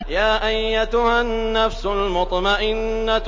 يَا أَيَّتُهَا النَّفْسُ الْمُطْمَئِنَّةُ